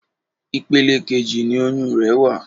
Ipele kejì ni oyún rẹ̀ wà.